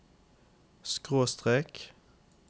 skråstrek